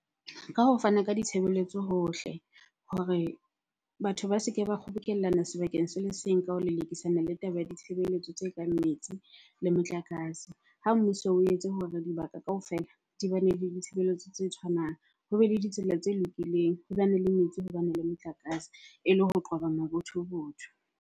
Ka ho fana ka ditshebeletso hohle hore batho ba se ke ba kgobokellana sebakeng se le seng ka ho lelekisana le taba ya ditshebeletso tse kang metsi le motlakase. Ha mmuso o etse hore dibaka kaofela di bane le ditshebeletso tse tshwanang. Hobe le ditsela tse lokileng, ho bane le metsi, ho bane le motlakase ele ho qoba mabothobotho.